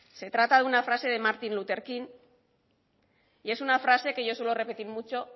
se trata de una frase de martin luther king y es una frase que yo suelo repetir mucho